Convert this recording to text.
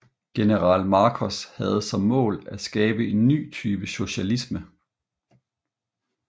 General Markos havde som mål at skabe en ny type socialisme